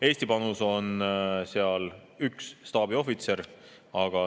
Eesti panus on seal üks staabiohvitser.